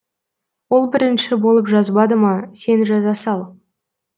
ол бірінші болып жазбады ма сен жаза сал